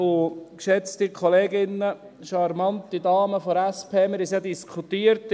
Und, geschätzte Kolleginnen, charmante Dame der SP, wir haben es ja in der SiK diskutiert.